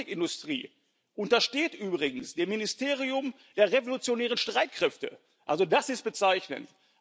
Die Touristikindustrie untersteht übrigens dem Ministerium der Revolutionären Streitkräfte, also das ist bezeichnend.